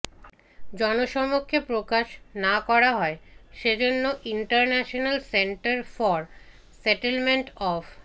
জনসমক্ষে প্রকাশ না করা হয় সেজন্য International Centre for Settlement of